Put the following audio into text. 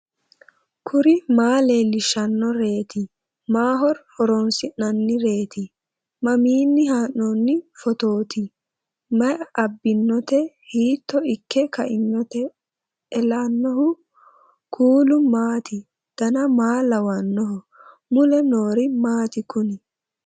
kuri maa leellishannoreeti maaho horoonsi'noonnireeti mamiinni haa'noonni phootooti mayi abbinoote hiito ikke kainote ellannohu kuulu maati dan maa lawannoho mule noori maati kuni